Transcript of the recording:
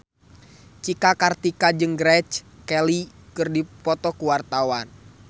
Cika Kartika jeung Grace Kelly keur dipoto ku wartawan